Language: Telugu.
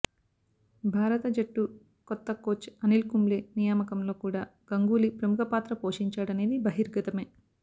భారత జట్టు కొత్త కోచ్ అనిల్ కుంబ్లే నియామకం లో కూడా గంగూలీ ప్రముఖ పాత్ర పోషించాడనేది బహిర్గతమే